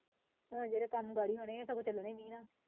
ਜਿਹੜੇ ਕੰਮ ਹੋਣੇ ਹੈ ਹੁਣ ਤਾਂ ਹੁਣ ਚੱਲਣੇ ਨਹੀਂ ਨਾ।